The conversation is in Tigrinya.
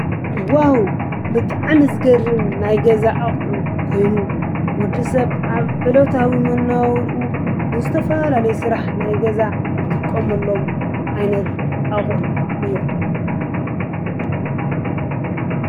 ዋዉ ብጣዕሚ ዝገርም ናይ ገዛ አቁሑ ኮይኑ ወዲሰብ አብ ዕለታዊ መነባብሮኡ ንዝተፈላለዪ ስራሕ ናይ ገዛ ዝጥቀመሎም ዓይነት አቁሑ እዮም ።